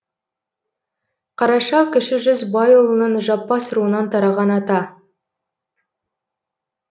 қараша кіші жүз байұлының жаппас руынан тараған ата